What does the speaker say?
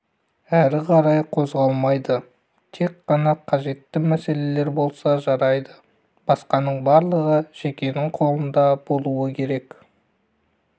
әрі қарай қозғалмайды тек қана қажетті мәселелер болса жарайды басқаның барлығы жекенің қолында болуы керек